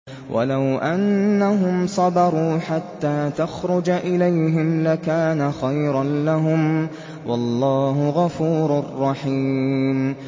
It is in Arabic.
وَلَوْ أَنَّهُمْ صَبَرُوا حَتَّىٰ تَخْرُجَ إِلَيْهِمْ لَكَانَ خَيْرًا لَّهُمْ ۚ وَاللَّهُ غَفُورٌ رَّحِيمٌ